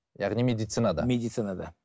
яғни медицинада медицинада